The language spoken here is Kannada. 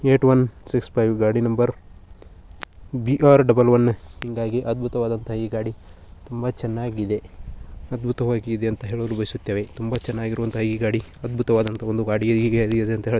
ಏಟ್ ಒನ್ ಸಿಕ್ಸ್ ಫೈವ್ ಗಾಡಿ ನಂಬರ್ ಬಿ.ಆರ್. ಡಬಲ್ ವನ್ ಹಾಂಗಾಗಿ ಅದ್ಭುತವಾದ ಈ ಗಾಡಿ ತುಂಬ ಚೆನ್ನಾಗಿದೆ ಅದ್ಭುತವಾಗಿ ಇದೆ ಅಂತ ಹೇಳಲು ಬಯಸುತೇವೆ ತುಂಬ ಚೆನ್ನಾಗಿರುವಂತ ಈ ಗಾಡಿ ಅದ್ಭುತವಾದಂತಹ ಒಂದು ಗಾಡಿ .